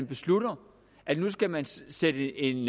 beslutter at nu skal man sætte en